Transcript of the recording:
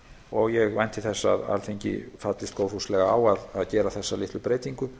og ég vænti þess að þingið fallist góðfúslega á að gera þessa litlu breytingu